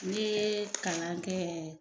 N'i ye kalan kɛ